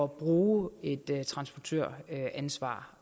bruge et transportøransvar